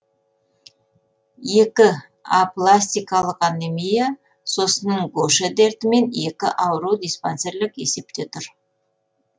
екі апластикалық анемия сосын гоше дертімен екі ауру диспансерлік есепте тұр